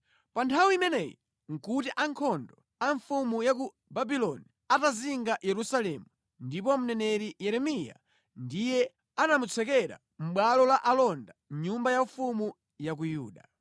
Pa nthawi imeneyi nʼkuti ankhondo a mfumu ya ku Babuloni atazinga Yerusalemu, ndipo mneneri Yeremiya ndiye anamutsekera mʼbwalo la alonda mʼnyumba yaufumu ya ku Yuda.